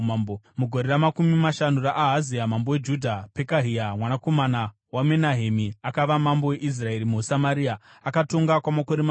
Mugore ramakumi mashanu raAhazia mambo weJudha, Pekahia mwanakomana waMenahemi akava mambo weIsraeri muSamaria, akatonga kwamakore maviri.